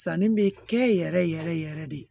Sanni bɛ kɛ yɛrɛ yɛrɛ yɛrɛ de